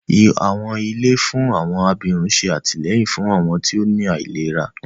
Àwọn ilé fún àwọn abirùn ṣé àtìlẹ́yìn fún àwọn tí ó ní àìlera